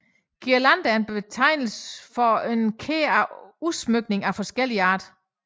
Guirlande er en betegnelse for en kæde af udsmykninger af forskellig art